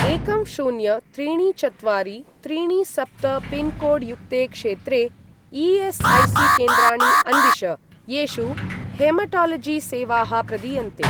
एकं शून्य त्रीणि चत्वारि त्रीणि सप्त पिन्कोड् युक्ते क्षेत्रे ई.एस्.ऐ.सी.केन्द्राणि अन्विष, येषु हेमटालजि सेवाः प्रदीयन्ते।